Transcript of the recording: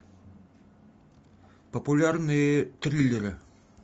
популярные триллеры